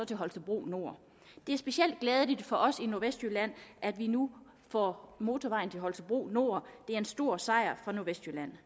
til holstebro nord det er specielt glædeligt for os i nordvestjylland at vi nu får motorvejen til holstebro nord det er en stor sejr for nordvestjylland